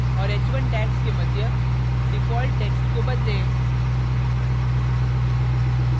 और h1 tags के मध्य default text को बदलें